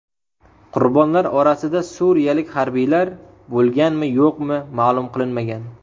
Qurbonlar orasida suriyalik harbiylar bo‘lganmi-yo‘qmi ma’lum qilinmagan.